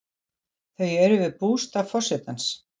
Þau eru við bústað forsetans.